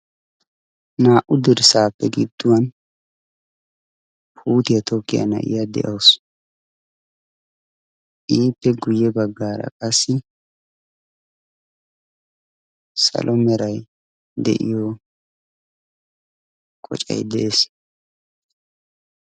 naa77u dirssaappe gidduwan puutiyaa tookiyaa naa7iya de7ausu iippe guyye baggaara qassi salomerai de7iyo qocai de7ees